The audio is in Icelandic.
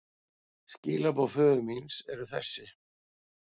Skilaboð föður míns eru þessi.